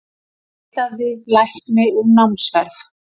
Neitaði lækni um námsferð